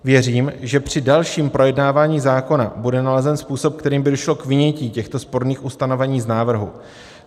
Věřím, že při dalším projednávání zákona bude nalezen způsob, kterým by došlo k vynětí těchto sporných ustanovení z návrhu.